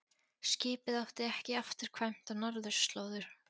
Skipið átti ekki afturkvæmt á norðurslóðir.